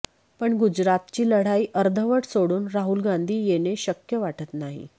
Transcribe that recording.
पण गुजरातची लढाई अर्धवट सोडून राहुल गांधी येणे शक्य वाटत नाही